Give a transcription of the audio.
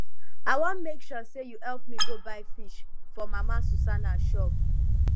i wan make you help me go buy fish for mama susanna shop